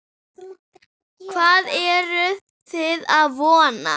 Hvað eruð þið að vona?